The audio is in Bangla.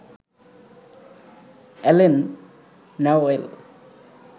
Allen Newell